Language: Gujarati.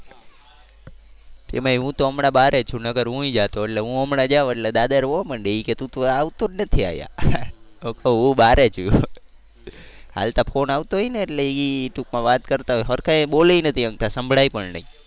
તેમાં હું તો હમણાં બારે છે નકર તો હુંય જાતો. એટલે હું હમણાં જાવ એટલે દાદા રોવા મંડે એ કે તું તો આવતો નથી અહિયાં. હું બારે છું હાલતા ફોન આવતો હોય ને એટલે એ ટુંકમાં વાત કરતાં હોય. સરખા એ બોલી નથી શકતા સંભળાય પણ નહીં.